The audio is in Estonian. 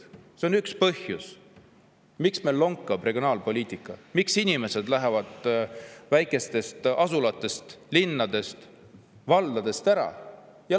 See on üks põhjus, miks meil lonkab regionaalpoliitika, miks inimesed lähevad väikestest asulatest, linnadest ja valdadest ära.